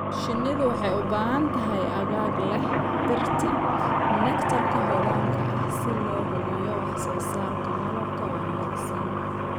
Shinnidu waxay u baahan tahay aagag leh dhirta nectar-ka hodanka ah si loo hubiyo wax soo saarka malabka wanaagsan.